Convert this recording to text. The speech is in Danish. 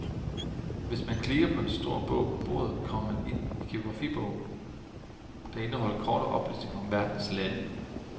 Hvis man klikker på en stor bog på bordet, kommer man ind i en geografibog, der indeholder korte oplysninger om verdens lande.